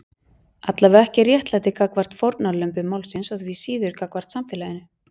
Allavega ekki réttlæti gagnvart fórnarlömbum málsins og því síður gagnvart samfélaginu.